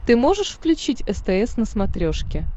ты можешь включить стс на смотрешке